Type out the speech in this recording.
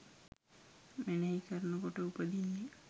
මෙනෙහි කරනකොට උපදින්නෙ.